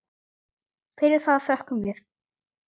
Fyrir það þökkum við.